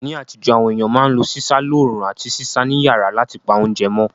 Ní àtíjó, àwon ééyàn ma n lo sísá loorún àti sísá ni yàrá látipa ounje mó